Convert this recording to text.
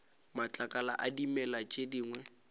matlakala a dimela tše dingwe